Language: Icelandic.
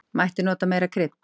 Mætti nota meira krydd.